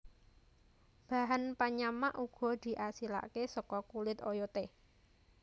Bahan penyamak uga diasilake saka kulit oyote